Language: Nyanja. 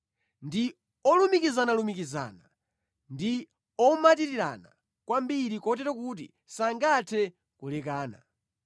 Ndi olumikizanalumikizana; ndi omatirirana kwambiri kotero kuti sangathe kulekana.